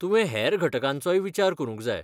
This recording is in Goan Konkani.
तुवें हेर घटकांचोय विचार करूंक जाय.